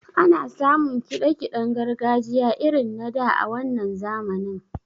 Ana samun kiɗa kiɗen gargajiya irin na da a wannan zamanin.